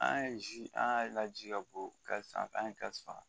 An ye zi an y'a laji ka bɔ ka sanfɛ an ye kasi faga